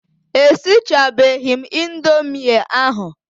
E sichabeghi m indomie ahụ.